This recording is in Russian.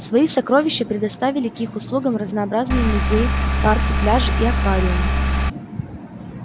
свои сокровища предоставили к их услугам разнообразные музеи парки пляжи и аквариумы